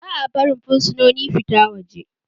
Ba barin fursunoni fita waje